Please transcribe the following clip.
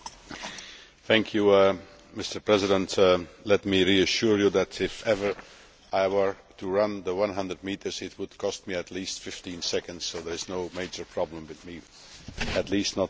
Mr President, let me assure you that if ever I were to run the 100 metres, it would take me at least 15 seconds, so there is no major problem with me at least not in that respect.